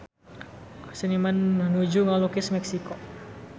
Seniman nuju ngalukis Meksiko